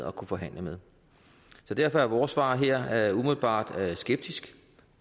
og forhandle med så derfor er vores svar her umiddelbart skeptisk